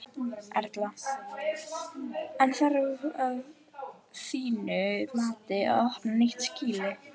Erla: En þarf að þínu mati að opna nýtt skýli?